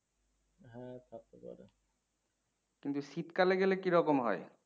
কিন্তু শীতকালে গেলে কিরকম হয়?